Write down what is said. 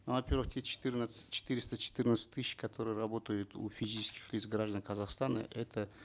ну во первых те четырнадцать четыреста четырнадцать тысяч которые работают у физических лиц граждан казахстана это